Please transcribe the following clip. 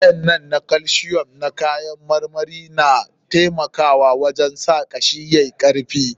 Waƴannan calcium na kayan marmarin na taimaka wajen sa kashi yayi karfi.